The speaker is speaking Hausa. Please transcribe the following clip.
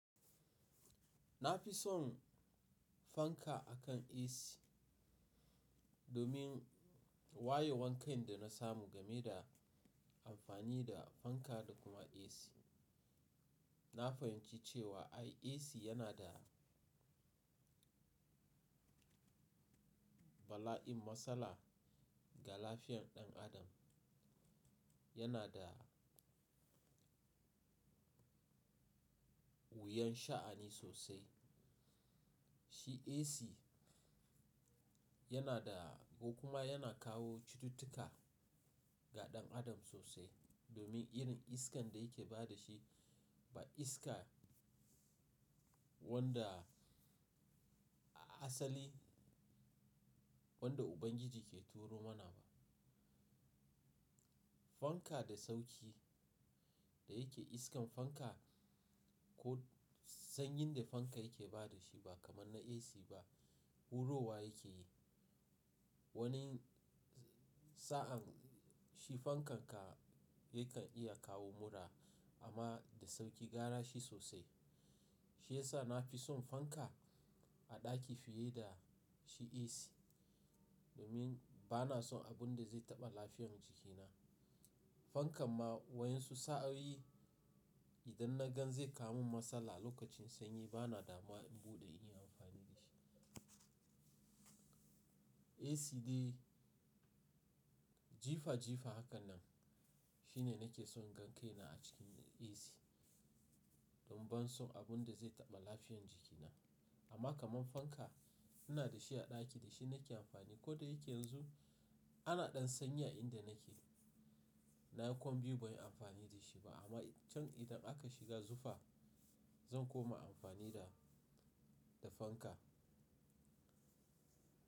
Na fi son fanka akan AC domin wayewar kai da na samu game da amfani da fanka da kuma AC. Na fahimci cewa ai AC yana da bala'in matsala ga lafiyar ɗan adam. Yana da wuyan sha'ani sosai. Shi AC yana da ko kuma yana kawo cututtuka ga ɗan adam sosai domin irin iskan da yake ba da shi ba iska wanda a asali wanda Ubangiji ke turo mana ba. Fanka da sauƙi da yake iskan fanka ko sanyin da fanka yake ba da shi ba kamar na AC ba. Huro wa yake yi. Wani sa'an shi fankan ka yakan iya kawo mura amma da sauƙi gara shi sosai. Shi ya sa na fi son fanka a ɗaki fiye da shi AC domin ba na son abun da zai taɓa lafiyar jikina. Fankan ma wayan su sa'a yi idan na gan zai kawo min matsala lokacin sanyi ba na damuwa in buɗe in yi amfani da shi. AC dai jifa jifa hakan nan shine nake son gan kaina a cikin AC don ban son abun da zai taɓa lafiyan jikina. Amma kamar fanka ina da shi a ɗaki da shi nake amfani. Ko da yake yanzu ana ɗan sanyi a inda nake, na yi kwan biyu ban yi amfani da shi ba amma can idan aka shiga zufa zan koma amfani da, da fanka.